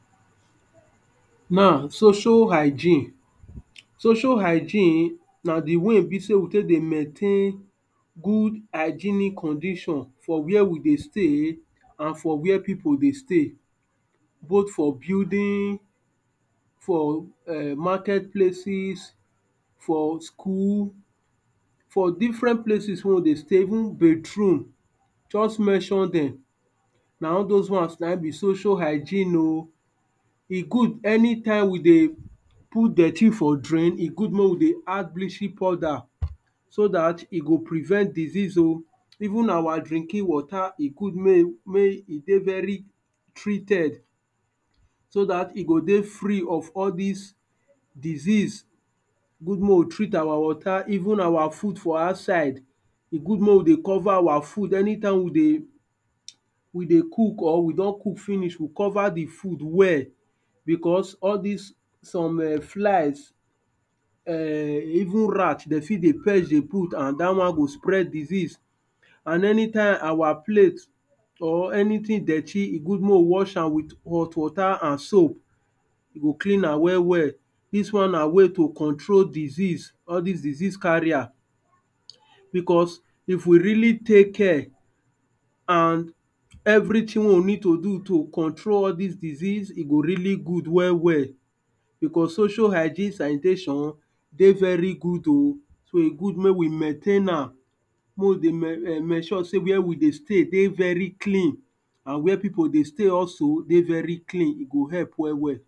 Now social hygiene, social hygeine na the way e be sey we take dey maintain good hygeinic condition for where we stay and for where people dey stay. Both for building, for um market places, for school, for different places wey we dey stay, even bathroom. Just mention dem. Na all dos ones na hin be social hygeine oh. E good anytime we dey put dirty for drain, e good make we dey add bleching powder. So dat e go prevent diseases oh. Even our drinking water, e go good make e make e dey very treated. So dat e go dey free of all dis disease. E good make we treat our water, even our food for outside. E good make we dey cover our food anytime we dey we dey cook or we don cook finish. we cover the food well because all dis some um flies um even rat de fit dey perch dey put and dat one go spread disease. And anytime our plate or anything dirty, e good make we wash am with hot water and soap. We go clean am well well. Dis one na way to control disease. All dis disease carrier, because if we really take care and everything wey we need to do to control all dis disease, e go really good well well. Because social hygeine sanitation dey very good oh. So e good make we maintain am. Make we dey ensure sey where we dey stay dey very clean. And where people dey stay also dey very clean. E go help well well.